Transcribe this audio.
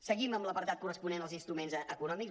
seguim amb l’apartat corresponent als instruments econòmics